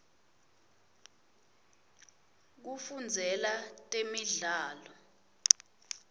kufundzela temidlalo